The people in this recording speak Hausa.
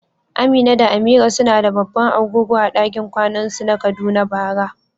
Amina da Amira suna da babban agogo a dakin kwanan su na Kaduna bara.